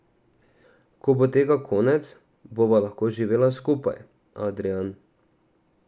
Ko bo tega konec, bova lahko živela skupaj, Adrijan.